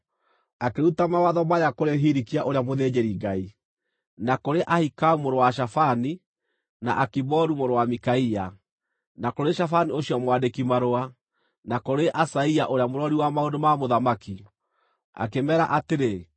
Akĩruta mawatho maya kũrĩ Hilikia ũrĩa mũthĩnjĩri-Ngai, na kũrĩ Ahikamu mũrũ wa Shafani, na Akiboru mũrũ wa Mikaia, na kũrĩ Shafani ũcio mwandĩki-marũa, na kũrĩ Asaia ũrĩa mũrori wa maũndũ ma mũthamaki, akĩmeera atĩrĩ: